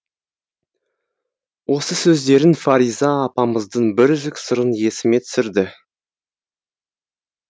осы сөздерің фариза апамыздың бір үзік сырын есіме түсірді